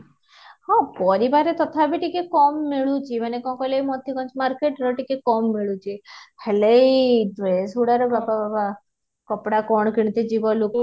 ହଁ ପରିବାରେ ତଥାପି ଟିକେ କମ ମିଳୁଛି ମାନେ କଣ କହିଲ ଏଇ ମୋଟିକୁଞ୍ଜ market ରେ ଟିକେ କମ ମିଳୁଛି ହେଲେ ଏଇ dress ଗୁଡା ରେ ବାପା ବାବା ବାବା କପଡା କଣ କିଣିତେ ଯିବ ଲୋକ